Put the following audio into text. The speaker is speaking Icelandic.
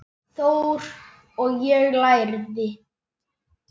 Þór, og ég lærði.